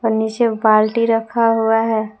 नीचे बाल्टी रखा हुआ है।